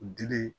Dili